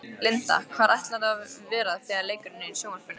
Linda: Hvar ætlarðu að vera þegar leikurinn er í sjónvarpinu?